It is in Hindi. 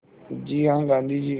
जी हाँ गाँधी जी